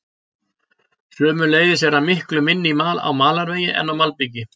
sömuleiðis er hann miklu minni á malarvegi en á malbiki